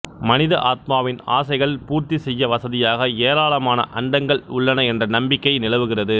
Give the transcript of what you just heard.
மனித ஆத்மாவின் ஆசைகள் பூர்த்தி செய்ய வசதியாக ஏராளமான அண்டங்கள் உள்ளன என்ற நம்பிக்கை நிலவுகிறது